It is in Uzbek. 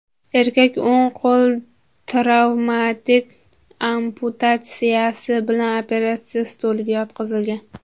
Erkak o‘ng qo‘l travmatik amputatsiyasi bilan operatsiya stoliga yotqizilgan.